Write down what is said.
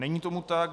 Není tomu tak.